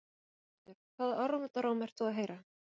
Höskuldur: Hvaða orðróm ert þú að heyra?